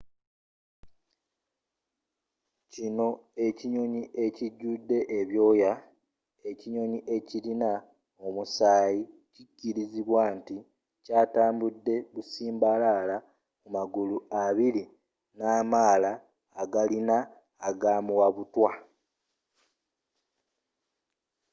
kino ekinyonyi ekijudde ebyooya ekinyonyi ekirina omusaayi kikirizibwa nti kyatambude busimbalaala ku magulu abiri namaala agalina agamuwabutwa